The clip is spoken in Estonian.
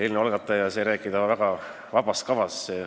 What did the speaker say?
Eelnõu algataja esindaja sai rääkida väga vaba kava järgi.